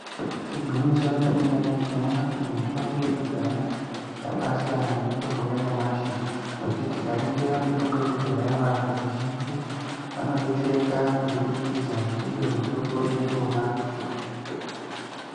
Igwinyiso remene mene tinoona kuti mitombo yekudhaya yakabasiyana nemitombo yanyamashi ngekuti tikaningira mitombo yekudhaya vantu vazhinji kubudikidza ndiyo mitombo iyona.